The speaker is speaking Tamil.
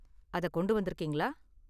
அத கொண்டு வந்திருக்கீங்களா?